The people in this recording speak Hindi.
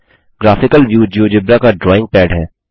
ग्राफिकल व्यू जियोजेब्रा का ड्रॉइंग पैड है